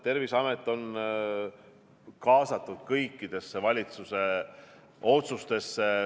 Terviseamet on kaasatud kõikidesse valitsuse otsustesse.